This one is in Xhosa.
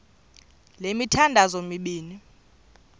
le mithandazo mibini